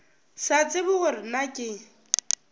sa tsebe gore na ke